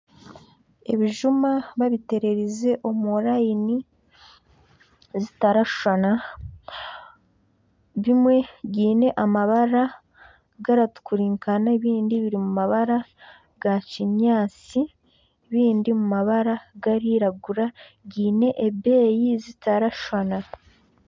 Ebijuma ebitererize omu nyiriri ezitarashushana. Bimwe biine amabara garatukurinkana ebindi biri mu mabara ga kinyaatsi ebindi mu mabara garairagura biine ebbeeyi zitarashushana.